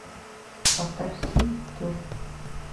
поставь си ту